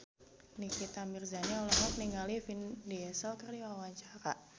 Nikita Mirzani olohok ningali Vin Diesel keur diwawancara